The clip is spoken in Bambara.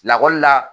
Lakɔlila